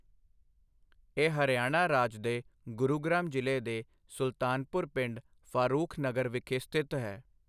ਇਹ ਹਰਿਆਣਾ ਰਾਜ ਦੇ ਗੁਰੂਗ੍ਰਾਮ ਜ਼ਿਲ੍ਹੇ ਦੇ ਸੁਲਤਾਨਪੁਰ ਪਿੰਡ, ਫਾਰੂਖਨਗਰ ਵਿਖੇ ਸਥਿਤ ਹੈ।